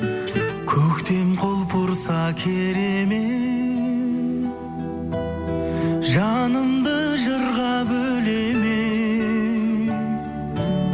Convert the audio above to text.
көктем құлпырса керемет жанымды жырға бөлемек